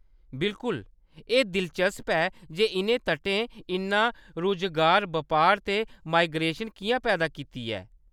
बिल्कुल! एह्‌‌ दिलचस्प ऐ जे इʼनें तटें इन्ना रुजगार, बपार ते माइग्रेशन किʼयां पैदा कीता ऐ।